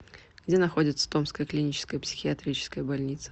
где находится томская клиническая психиатрическая больница